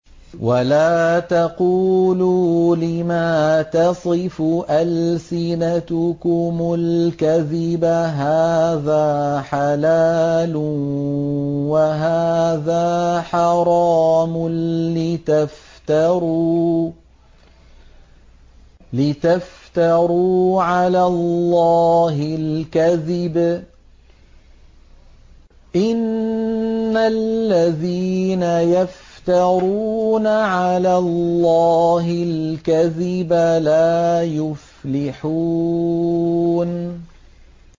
وَلَا تَقُولُوا لِمَا تَصِفُ أَلْسِنَتُكُمُ الْكَذِبَ هَٰذَا حَلَالٌ وَهَٰذَا حَرَامٌ لِّتَفْتَرُوا عَلَى اللَّهِ الْكَذِبَ ۚ إِنَّ الَّذِينَ يَفْتَرُونَ عَلَى اللَّهِ الْكَذِبَ لَا يُفْلِحُونَ